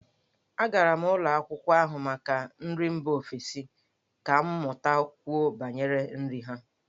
Agara m ụlọ akwụkwọ n'ahụ maka nri mba ofesi ka m matakwuo banyere nri ha.